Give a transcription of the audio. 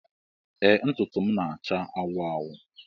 Ee ntụtụ m na-acha anwụ anwụ